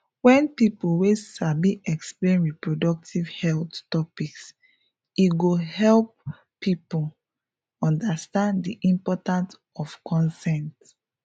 wen people wey sabi explain reproductive health topics e go help people understand di importance of consent